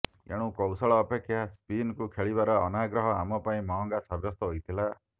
ଏଣୁ କୌଶଳ ଅପେକ୍ଷା ସ୍ପିନକୁ ଖେଳିବାର ଅନାଗ୍ରହ ଆମ ପାଇଁ ମହଙ୍ଗା ସାବ୍ୟସ୍ତ ହୋଇଥିଲା